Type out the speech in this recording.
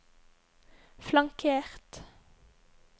flankert